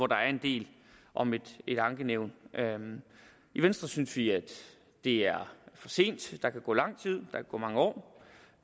der en del om et ankenævn i venstre synes vi at det er for sent der kan gå lang tid der kan gå mange år